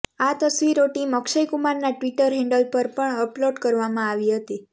આ તસવીરો ટીમ અક્ષય કુમારના ટવીટર હેન્ડલ પર પર અપલોડ કરવામાં આવી હતી